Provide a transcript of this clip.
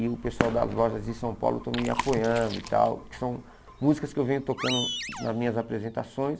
E o pessoal das lojas de São Paulo estão me apoiando e tal, que são músicas que eu venho tocando nas minhas apresentações.